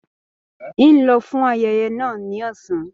N o lọ fún ayẹyẹ náà ní ọsán.